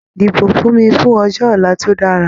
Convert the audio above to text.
Dìbò fún mi fún ọjọ́ ọ̀la tó dára!